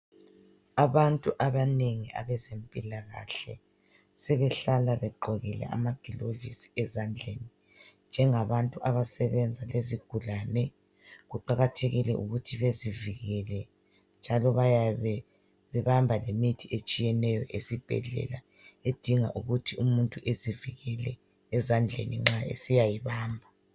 Abantu abanengi abezempilakahle sebehlala begqokile amagilovisi ezandleni njengabantu abasebenza izigulane, kuqakathekile ukuthi bezivikele njalo bayabe bebamba lemithi etshiyeneyo esibhedlela edinga ukuthi umuntu ezivikele ezandleni nxa esiyayibamba.